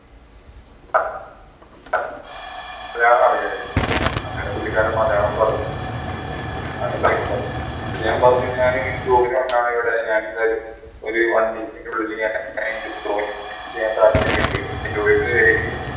മലയാളം അറിയായിരുന്നു അങ്ങനെ പുള്ളിക്കാരൻ മലയാളം പറഞ്ഞു എന്നിട്ട് ഞാൻ പറഞ്ഞു ഞാൻ ഇങ്ങനെ job ന് വന്നതാണ് ഇവിടെ ഞാൻ എന്തായാലും ഒരു one week ന്റെ ഉള്ളിൽ ജോലിക്ക് കയറിയിട്ട്